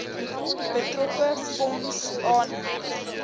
betrokke fonds aanheg